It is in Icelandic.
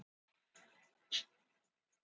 Fjallið Baula í Borgarfirði er myndað í slíku gosi.